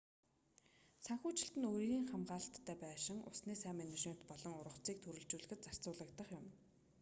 санхүүжилт нь үерийн хамгаалалттай байшин усны сайн менежмент болон ургацыг төрөлжүүлэхэд зарцуулагдах юм